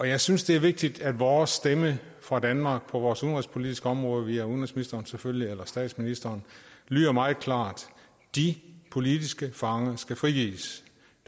jeg synes det er vigtigt at vores stemme fra danmark på vores udenrigspolitiske område via udenrigsministeren selvfølgelig eller statsministeren lyder meget klart de politiske fanger skal frigives